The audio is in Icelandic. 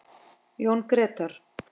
Jón Grétar.